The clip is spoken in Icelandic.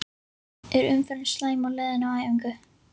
Er umferðin slæm á leiðinni á æfingu?